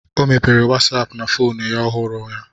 Ọ mepere wasapu na fonu ya ọhụrụ ya